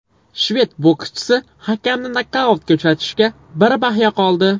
Shved bokschisi hakamni nokautga uchratishiga bir bahya qoldi.